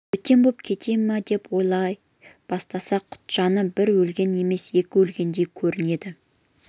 бөтен боп кете ме деп ойлай бастаса құтжаны бір өлген емес екі өлгендей көрінеді